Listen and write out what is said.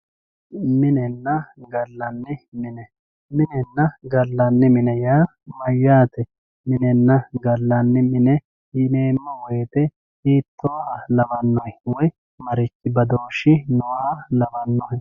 Minenna galani mine, minenna galanni mine yaa mayate, minenna galanni mine yineemo woyite hiitoha lawanohe woyi marichi badooshi nooha lawanohe